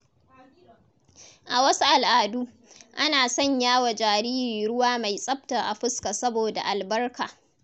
A wasu al’adu, ana sanya wa jariri ruwa mai tsafta a fuska saboda albarka.